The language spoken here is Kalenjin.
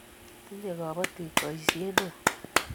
tinyei kabotik boisie neoo